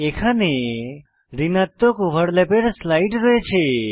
এখানে ঋণাত্মক ওভারল্যাপের স্লাইড রয়েছে